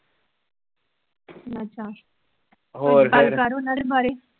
ਅੱਛਾ , ਹੋਰ, ਕੁਝ ਗੱਲ ਕਰ ਉਹਨਾਂ ਦੇ ਬਾਰੇ